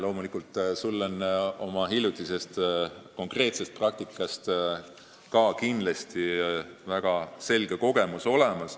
Loomulikult on sul oma hiljutisest konkreetsest praktikast väga selge kogemus olemas.